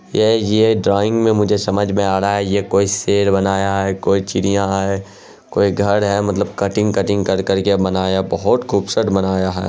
ये ये ड्राइंग में मुझे समझ में आ रहा है ये कोई शेर बनाया है कोई चिड़िया है कोई घर है मतलब कटिंग - कटिंग कर करके बनाया बहोत खूबसूरत बनाया है।